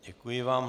Děkuji vám.